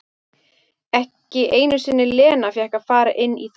Ekki einu sinni Lena fékk að fara inn í þann garð.